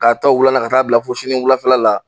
K'a ta o wulan na ka taa bila fo sini wulafɛla la